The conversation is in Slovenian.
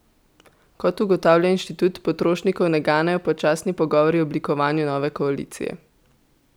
Kot ugotavlja inštitut, potrošnikov ne ganejo počasni pogovori o oblikovanju nove koalicije.